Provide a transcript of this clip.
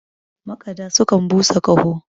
makada sukan busa Kaho